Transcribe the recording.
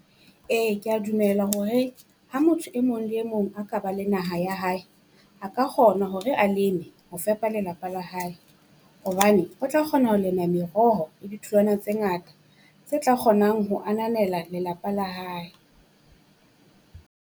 Ee kea dumela hore ha motho e mong le mong a ka ba la naha ya hae, a ka kgona hore a leme ho fepa lelapa la hae. Hobane o tla kgona ho lema meroho le ditholwana tse ngata tse tla kgonang ho ananela lelapa la hae.